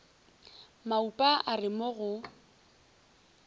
maupa a re mo go